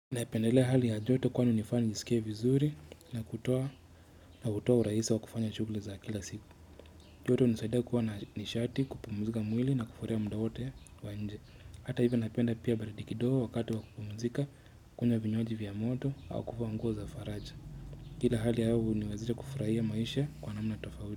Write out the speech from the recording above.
Naipendelea hali ya joto kwani unifanya nijisikie vizuri na kutoa urahisi wa kufanya shughuli za kila siku. Joto unisaidia kuwa na nishati kupumuzika mwili na kufurahia mda wote wa nje. Hata hivyo napenda pia baridi kidogo wakati wa kupumzika kunywa vinywaji vya moto au kuvaa nguo za faraja. Kila hali ya hewa huniwezesha kufurahia maisha kwa namna tofawili.